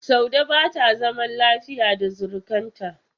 Saude ba ta zama lafiya da surukarta.